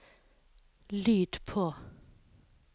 lyd på